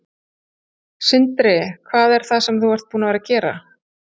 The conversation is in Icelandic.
Sindri: Hvað er það sem þú ert búin að vera að gera?